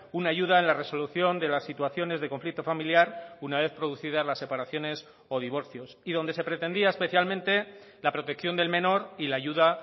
una ayuda en la resolución de las situaciones de conflicto familiar una vez producidas las separaciones o divorcios y donde se pretendía especialmente la protección del menor y la ayuda